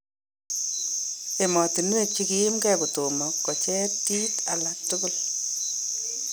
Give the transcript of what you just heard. Emotunwek chekiyimkee kotomo kocheer tiit alak tukul .